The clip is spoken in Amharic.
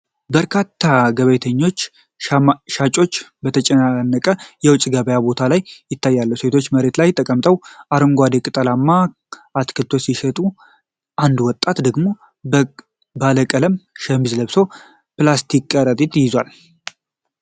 በርካታ ገበያተኞችና ሻጮች በተጨናነቀ የውጭ ገበያ ቦታ ላይ ይታያሉ። ሴቶች መሬት ላይ ተቀምጠው አረንጓዴ ቅጠላማ አትክልቶችን ሲሸጡ፣ አንድ ወጣት ደግሞ ባለቀለም ሸሚዝ ለብሶ ፕላስቲክ ከረጢት ይዟል።